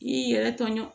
I y'i yɛrɛ tɔɲɔ